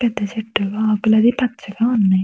పెద్ధ చెట్టు ఆకులైతే పచ్చగా ఉన్నయి.